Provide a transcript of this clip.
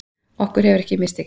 Okkur hefur ekki mistekist